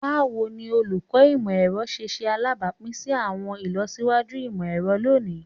Bawo ni Oluko Imọ-ẹrọ ṣe ṣe alabapin si awọn ilọsiwaju imọ-ẹrọ loni?